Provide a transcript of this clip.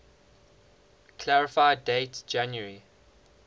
clarify date january